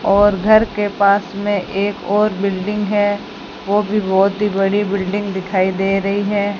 और घर के पास में एक और बिल्डिंग है वो भी बहुत ही बड़ी बिल्डिंग दिखाई दे रही है।